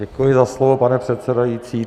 Děkuji za slovo, pane předsedající.